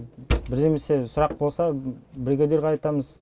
бірдемесе сұрақ болса бригадирге айтамыз